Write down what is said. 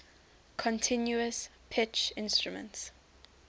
continuous pitch instruments